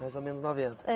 Mais ou menos noventa? É